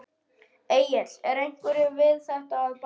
Egill er einhverju við þetta að bæta?